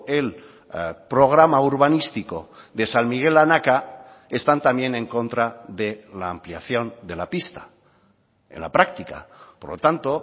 el programa urbanístico de san miguel anaka están también en contra de la ampliación de la pista en la práctica por lo tanto